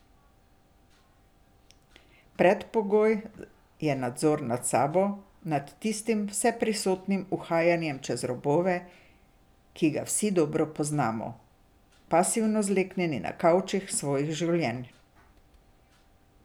Predpogoj je nadzor nad sabo, nad tistim vseprisotnim uhajanjem čez robove, ki ga vsi dobro poznamo, pasivno zleknjeni na kavčih svojih življenj.